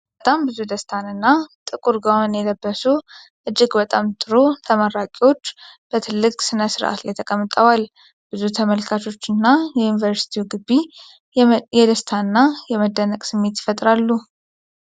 በጣም ብዙ ደስታንና ጥቁር ጋዋን የለበሱ እጅግ በጣም ጥሩ ተመራቂዎች በትልቅ ሥነ ሥርዓት ላይ ተቀምጠዋል። ብዙ ተመልካቾችና የዩኒቨርሲቲው ግቢ የደስታና የመደነቅ ስሜት ይፈጥራሉ።